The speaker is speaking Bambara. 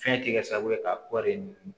Fɛn tɛ kɛ sababu ye ka kɔɔri